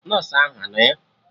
Nọsụ ahụ anọ ya?